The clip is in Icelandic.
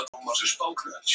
Sumir gestanna reykja.